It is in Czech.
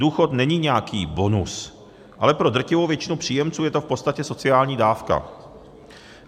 Důchod není nějaký bonus, ale pro drtivou většinu příjemců je to v podstatě sociální dávka.